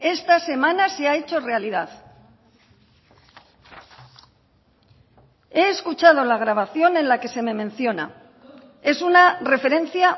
esta semana se ha hecho realidad he escuchado la grabación en la que se me menciona es una referencia